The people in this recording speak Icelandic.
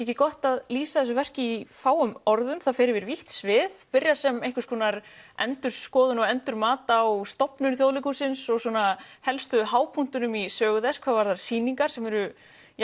ekki gott að lýsa þessu leikverki í fáum orðum það fer yfir vítt svið byrjar sem einhvers konar endurskoðun eða endurmat á stofnun Þjóðleikhússins svo svona helstu hápunktum í sögu þess hvað varðar sýningar sem eru